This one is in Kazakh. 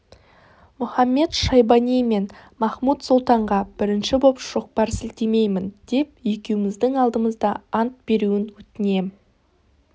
мұхамед-шайбани мен махмуд-сұлтанға бірінші боп шоқпар сілтемеймін деп екеуміздің алдымызда ант беруін өтінем